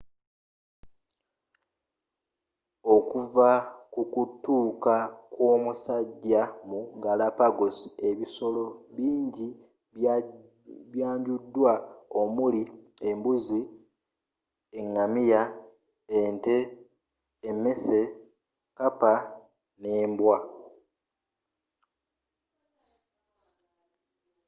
okuva kukutuuka kwomusajja mu galapagos ebisolo bingi ebyanjudwa omuli embuzi engamiya ente emmese kkapa nembwa